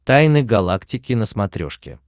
тайны галактики на смотрешке